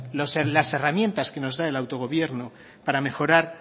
las herramientas que nos da el autogobierno para mejorar